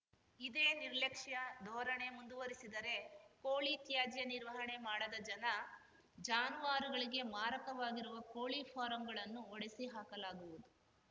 ಇದೇ ನಿರ್ಲಕ್ಷ್ಯ ಧೋರಣೆ ಮುಂದುವರಿಸಿದರೆ ಕೋಳಿ ತ್ಯಾಜ್ಯ ನಿರ್ವಹಣೆ ಮಾಡದ ಜನ ಜಾನುವಾರುಗಳಿಗೆ ಮಾರಕವಾಗಿರುವ ಕೋಳಿ ಫಾರಂಗಳನ್ನು ಒಡೆಸಿ ಹಾಕಲಾಗುವುದು